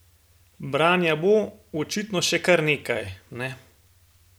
Branja bo, očitno, še kar nekaj, ne?